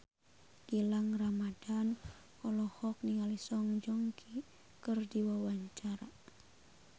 Gilang Ramadan olohok ningali Song Joong Ki keur diwawancara